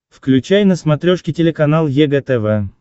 включай на смотрешке телеканал егэ тв